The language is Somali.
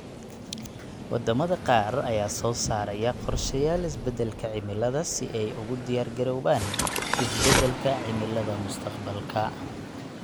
Waddamada qaar ayaa soo saaraya qorshayaal isbeddelka cimilada si ay ugu diyaar garoobaan isbeddelka cimilada mustaqbalka.